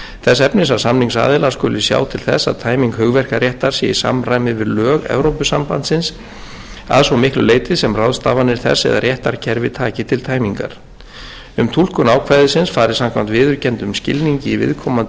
þess efnis að samningsaðilar skuli sjá til þess að tæming hugverkaréttar sé í samræmi við lög evrópusambandsins að svo miklu leyti sem ráðstafanir þess eða réttarkerfi taki til tæmingar um túlkun ákvæðisins fari samkvæmt viðurkenndum skilningi í viðkomandi